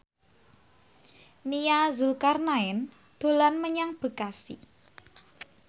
Nia Zulkarnaen dolan menyang Bekasi